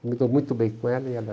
Eu me dou muito bem com ela. E ela